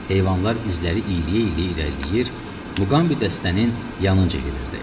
Heyvanlar izləri iyliyə-iyliyə irəliləyir, Muqambi dəstənin yanınca gedirdi.